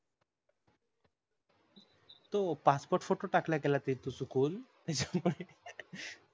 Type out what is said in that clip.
तो passport photo टाकल्या गेल्या तो चुकून त्याच्यामुळे